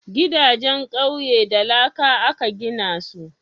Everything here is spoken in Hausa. Gidajen ƙauye da laka aka gina su